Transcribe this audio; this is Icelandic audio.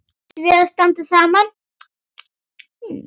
Ætlum við að standa saman?